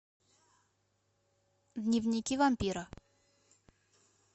дневники вампира